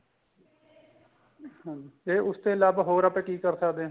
ਅੱਛਾ ਜੀ ਤੇ ਉਸ ਤੇ ਇਲਾਵਾ ਹੋਰ ਆਪਾਂ ਕੀ ਕਰ ਸਕਦੇ ਆ